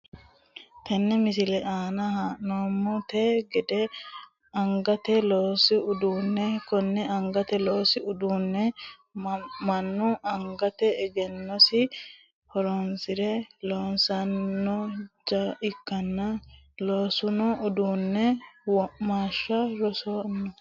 Tene misilete aana la`noomonte gede angate loosi uduune kone angate loosi uduune manu angate egenosi horoonsire loosinoja ikanna loosino uduune womaashaho soorano.